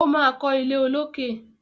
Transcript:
O ma kọ ilé olókè.